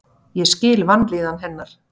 Ég skil vanlíðan hennar.